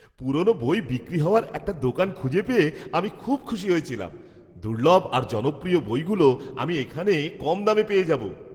পুরনো বই বিক্রি হওয়ার একটা দোকান খুঁজে পেয়ে আমি খুব খুশি হয়েছিলাম। দুর্লভ আর জনপ্রিয় বইগুলো আমি এখানে কম দামে পেয়ে যাবো।